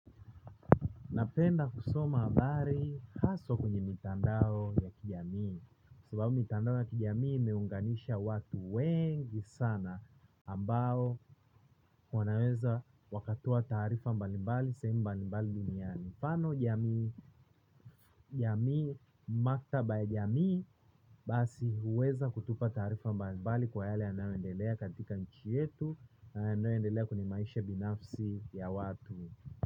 Napenda kusoma habari haswa kwenye mitandao ya kijamii. Sababu mitandao ya kijamii imeunganisha watu wengi sana ambao wanaweza wakatoa taarifa mbali mbali sehemu mbali mbali duniani tano jamii maktaba ya jamii. Basi huweza kutupa tarifa mbali mbali kwa yale yanayoendelea katika nchi yetu na yanayoendelea kwenye maisha binafsi ya watu.